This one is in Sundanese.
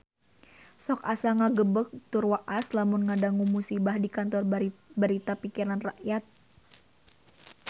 Sok asa ngagebeg tur waas lamun ngadangu musibah di Kantor Berita Pikiran Rakyat